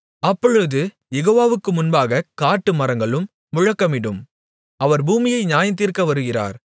அப்பொழுது யெகோவாவுக்கு முன்பாகக் காட்டுமரங்களும் முழக்கமிடும் அவர் பூமியை நியாயந்தீர்க்க வருகிறார்